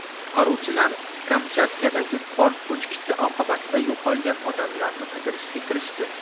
Qutqaruvchilar Kamchatkadagi qor ko‘chkisi oqibatida yo‘qolgan odamlarni qidirishga kirishdi.